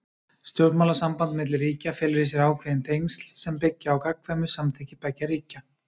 Stjórnmálasamband milli ríkja felur í sér ákveðin tengsl sem byggja á gagnkvæmu samþykki beggja ríkja.